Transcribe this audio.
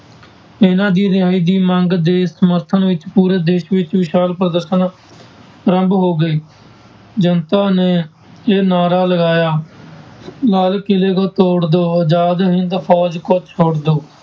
ਇਹਨਾਂ ਦੀ ਰਿਹਾਈ ਦੀ ਮੰਗ ਦੇ ਸਮਰਥਨ ਵਿੱਚ ਪੂਰੇ ਦੇਸ ਵਿੱਚ ਵਿਸ਼ਾਲ ਪ੍ਰਦਰਸ਼ਨ ਆਰੰਭ ਹੋ ਗਏ, ਜਨਤਾ ਨੇ ਇਹ ਨਾਅਰਾ ਲਗਾਇਆ ਲਾਲ ਕਿੱਲ੍ਹੇ ਕੋ ਤੋੜ ਦਓ, ਆਜ਼ਾਦ ਹਿੰਦ ਫ਼ੋਜ਼ ਕੋ ਛੋੜ ਦਓ।